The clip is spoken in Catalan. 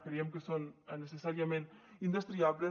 creiem que són necessàriament indestriables